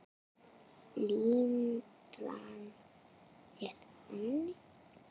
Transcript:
Limran er þannig